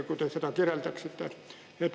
Kui te seda kirjeldaksite?